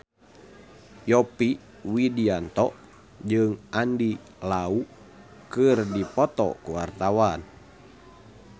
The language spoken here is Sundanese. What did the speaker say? Yovie Widianto jeung Andy Lau keur dipoto ku wartawan